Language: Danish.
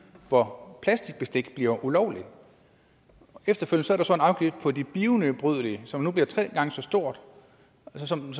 hvor plastikbestik bliver ulovligt efterfølgende så en afgift på det bionedbrydelige som nu bliver tre gange så stor og som